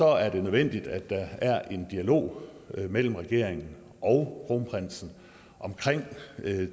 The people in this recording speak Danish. er det nødvendigt at der er en dialog mellem regeringen og kronprinsen omkring